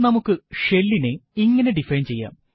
നമുക്ക് ഷെൽ ഇനെ ഇങ്ങനെ ഡിഫൈൻ ചെയ്യാം